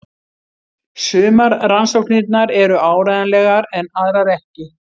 Sumar rannsóknirnar eru áreiðanlegar en aðrar ekki.